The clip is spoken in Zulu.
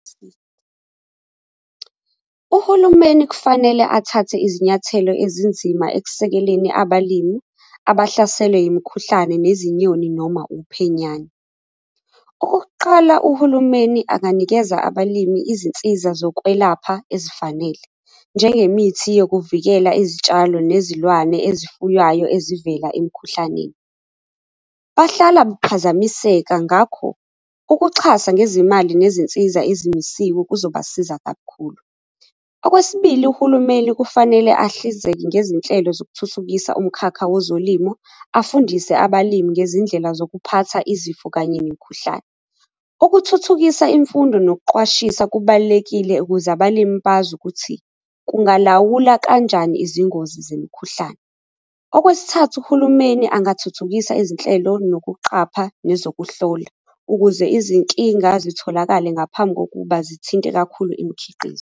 Uhulumeni kufanele athathe izinyathelo ezinzima ekusekeleni abalimi abahlaselwe yimikhuhlane yezinyoni noma uphenyane. Okokuqala, uhulumeni anganikeza abalimi izinsiza zokwelapha ezifanele, njengemithi yokuvikela izitshalo nezilwane ezifuywayo ezivela emikhuhlaneni. Bahlala baphazamiseka ngakho ukuxhasa ngezimali nezinsiza ezimisiwe kuzobasiza kakhulu. Okwesibili, uhulumeni kufanele ahlinzeke ngezinhlelo zokuthuthukisa umkhakha wezolimo afundise abalimi ngezindlela zokuphatha izifo kanye nemikhuhlane. Ukuthuthukisa imfundo nokuqwashisa kubalulekile ukuze abalimi bazi ukuthi kungalawula kanjani izingozi zemikhuhlane. Okwesithathu, uhulumeni angathuthukisa izinhlelo nokuqapha lezokuhlola ukuze izinkinga zitholakale ngaphambi kokuba zithinte kakhulu imikhiqizo.